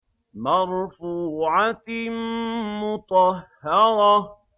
مَّرْفُوعَةٍ مُّطَهَّرَةٍ